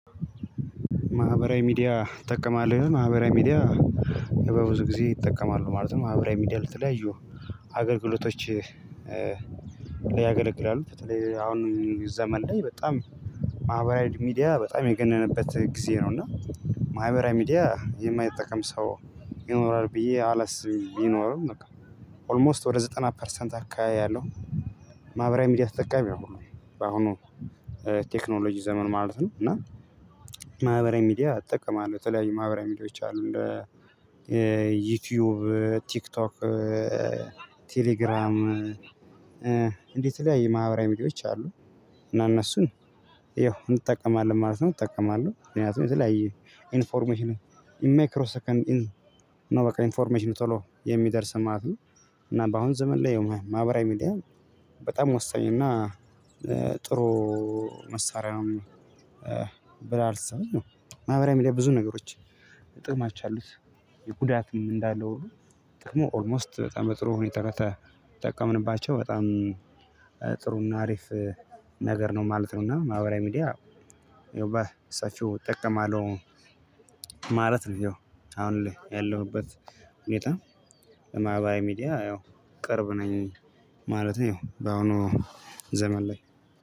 ማህበራዊ ሚዲያ ትጠቀማል ወይ? ማህበራዊ ሚዲያ በብዙ ጊዜ እጠቀማለሁ ማለት ነው። ማህበራዊ ሚዲያ ለተለያዩ አገልግሎቶቸ ሊያገለግላሉ አሁን ዘመን ላይ በጣም ማህበራዊ ሚዲያ በጣም የገነነበት ጊዜ ነው። እና ማህበራዊ ሚዲያ የማይጠቀም ሰው ይኖራል ብዬ አላስብም ቢኖርም በቃ ኦልሞስት ወደ ዘጠና ፐርሰንት አካባቢያለሁ። ሚዲያ ተጠቃሚ ሁሉም በአሁኑ ቴክኖሎጂ ዘመን ማለት ነው። እና ማህበራዊ ሚዲያ እጠቀማለው ተለያዩ ማህበራዊ ሚዲያዎች አሉ። እንደ ዩቲዩብ ቲክቶክ ቴሌግራም እንዲ የተለያየ ማህበራዊ ሚዲያዎች አሉ እና እነሱን ይኸው እንጠቀማለን ማለት ነው። እጠቀማለሁ ምክንያቱም የተለያየ ኢንፎርሜሽኑ ኢንማይክሮ ሰከንድ ኢን ነው በቃ ኢንፎርሜሽን ቶሎ የሚደርሰን ማለት ነው። እና በአሁን ዘመን ላይ ማህበራዊ ሚዲያ በጣም ወሳኝ እና ጥሩ መሳሪያ ነው። ብላ አልተሰማኝም ማህበራዊ ሚዲያ ብዙ ነገሮች ጥቅማች አሉት የጉዳትም እንዳለው ሁሉ ጥቅሙ ኦልሞስት በጣም ጥሩ ሁኔታ ከተጠቀምንባቸው በጣም ጥሩና አሪፍ ነገር ነው ማለት ነው። እና ማህበራዊ ሚዲያ ያው ባ እሳችሁ እጠቀማለሁ ማለት ነው። ይው አሁን ያለሁበት ሁኔታ ለማህበራዊ ሚዲያ ያው ቅርብ ነኝ ማለት ያው በአሁኑ ዘመን ላይ